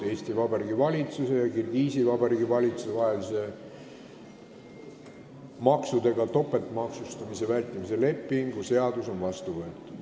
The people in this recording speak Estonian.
Eesti Vabariigi valitsuse ja Kirgiisi Vabariigi valitsuse vahelise tulumaksudega topeltmaksustamise vältimise ning maksudest hoidumise tõkestamise lepingu ratifitseerimise seadus on vastu võetud.